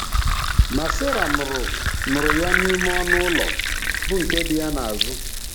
Ma Sera nụrụ nụrụ ya n'ime ọnụ ụlọ, bụ nke dị ya n'azụ.